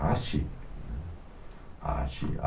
arte, né, a arte